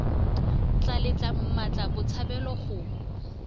tla letla mmatla botshabelo go